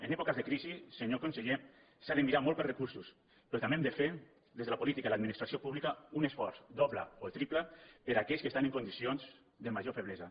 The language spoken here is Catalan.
en èpoques de crisi senyor conseller s’ha de mirar molt pels recursos però també hem de fer des de la política i l’administració pública un esforç doble o triple per a aquells que estan en condicions de major feblesa